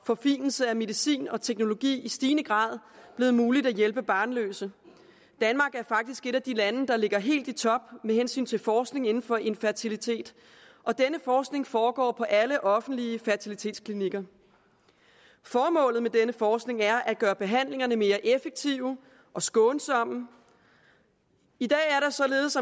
forfinelsen af medicin og teknologi i stigende grad blevet muligt at hjælpe barnløse danmark er faktisk et af de lande der ligger helt i top med hensyn til forskning inden for infertilitet og denne forskning foregår på alle offentlige fertilitetsklinikker formålet med denne forskning er at gøre behandlingerne mere effektive og skånsomme i dag er der således